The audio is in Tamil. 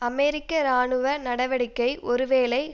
அமெரிக்க இராணுவ நடவடிக்கை ஒருவேளை